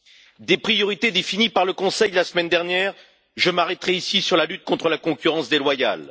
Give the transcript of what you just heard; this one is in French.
Parmi les priorités définies par le Conseil de la semaine dernière, je m'arrêterai ici sur la lutte contre la concurrence déloyale.